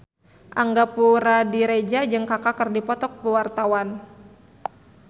Angga Puradiredja jeung Kaka keur dipoto ku wartawan